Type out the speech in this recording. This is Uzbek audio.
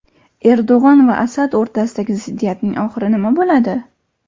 Erdo‘g‘on va Asad o‘rtasidagi ziddiyatning oxiri nima bo‘ladi?.